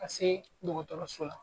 Ka se dɔgɔtɔrɔso la